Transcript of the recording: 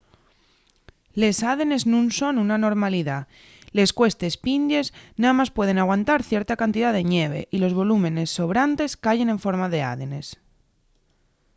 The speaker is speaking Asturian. les ádenes nun son una anormalidá. les cuestes pindies namás pueden aguantar cierta cantidá de ñeve y los volúmenes sobrantes cayen en forma d’ádenes